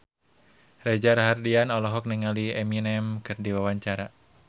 Reza Rahardian olohok ningali Eminem keur diwawancara